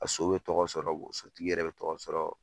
A so be tɔgɔ sɔrɔ sotigi yɛrɛ be tɔgɔ sɔrɔ